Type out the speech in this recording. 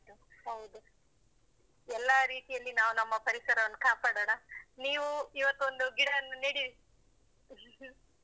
ಹೌದು. ಎಲ್ಲಾ ರೀತಿಯಲ್ಲಿ ನಾವು ನಮ್ಮ ಪರಿಸರವನ್ನು ಕಾಪಾಡಣ. ನೀವು ಇವತ್ತು ಒಂದು ಗಿಡನ್ನು ನೆಡಿ. .